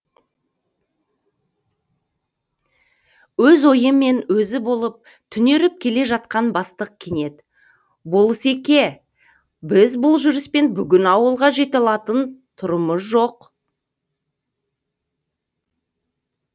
өз ойымен өзі болып түнеріп келе жатқан бастық кенет болыс еке біз бұл жүріспен бүгін ауылға жете алатын сұрымыз жоқ